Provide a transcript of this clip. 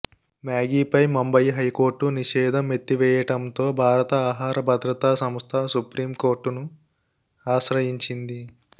మ్యాగీపై Mumbai high court నిషేధం ఎత్తివేయటంతో భారత ఆహార భద్రతా సంస్థ సుప్రీం కోర్టును ఆశ్రయించింది